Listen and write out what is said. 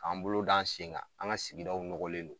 K'an bolo d'an sen kan, an ŋa sigidaw nɔgɔlen don.